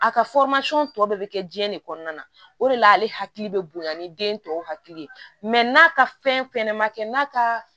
A ka tɔ bɛɛ bɛ kɛ diɲɛ de kɔnɔna na o de la ale hakili bɛ bonya ni den tɔw hakili ye n'a ka fɛn fɛnɛ ma kɛ n'a ka